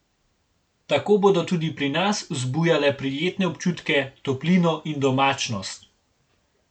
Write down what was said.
Tako bodo tudi pri nas vzbujale prijetne občutke, toplino in domačnost.